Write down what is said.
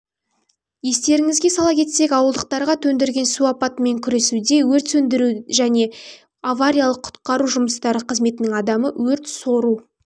естеріңізге сала кетсек ауылдықтарға төндірген су апатымен күресуде өрт сөндіру және авариялық-құтқару жұмыстары қызметінің адамы өрт-сору